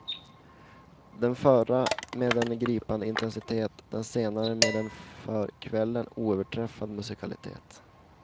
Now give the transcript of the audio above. Den förra med en gripande intensitet, den senare med en för kvällen oöverträffad musikalitet.